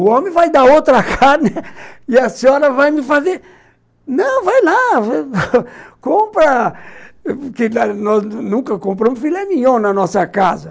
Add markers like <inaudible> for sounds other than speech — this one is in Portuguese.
O homem vai dar outra carne <laughs> e a senhora vai me fazer... Não, vai lá, <unintelligible> <laughs> compra... Porque nós nunca compramos filé mignon na nossa casa.